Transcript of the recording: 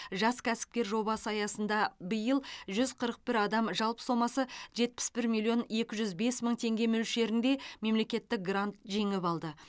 жас кәсіпкер жобасы аясында биыл жүз қырық бір адам жалпы сомасы жетпіс бір миллион екі жүз бес мың теңге мөлшерінде мемлекеттік грант жеңіп алды